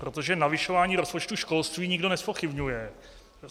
Protože navyšování rozpočtu školství nikdo nezpochybňuje.